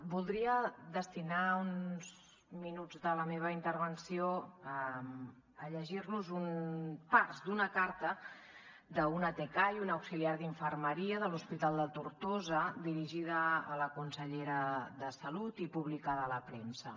voldria destinar uns minuts de la meva intervenció a llegir los parts d’una carta d’una tcai una auxiliar d’infermeria de l’hospital de tortosa dirigida a la consellera de salut i publicada a la premsa